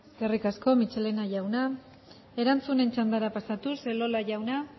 eskerrik asko michelena jauna erantzunen txandara pasatuz elola jauna